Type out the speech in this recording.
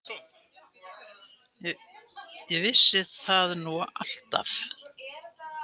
Ég vissi það nú alltaf.